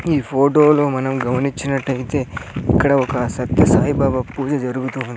ఈ ఫోటోలు మనం గమనించినటయితే ఇక్కడ ఒక సత్య సాయిబాబా పూజ జరుగుతుంది.